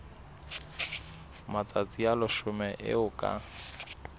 matsatsi a leshome eo ka